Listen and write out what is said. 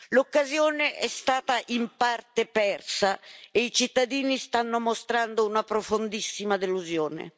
L'occasione è stata in parte persa e i cittadini stanno mostrando una profondissima delusione.